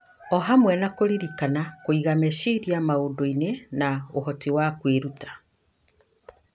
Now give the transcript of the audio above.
o hamwe na kũririkana, kũiga meciria maũndũ-inĩ, na ũhoti wa kwĩruta.